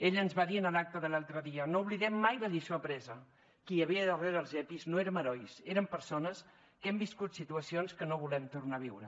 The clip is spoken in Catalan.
ella ens va dir en l’acte de l’altre dia no oblidem mai la lliçó apresa qui hi havia darrere els epis no érem herois érem persones que hem viscut situacions que no volem tornar a viure